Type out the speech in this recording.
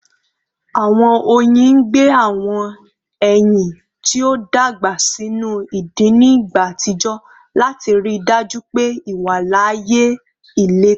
Awọn oyin gbe awọn ẹyin ti o dagba sinu idin ni igba atijọ lati rii daju pe iwalaaye ileto